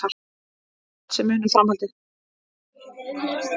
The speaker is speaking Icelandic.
Hann hélt sig muna framhaldið.